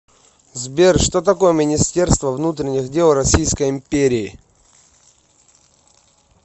сбер что такое министерство внутренних дел российской империи